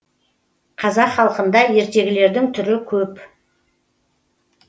қазақ халқында ертегілердің түрі көп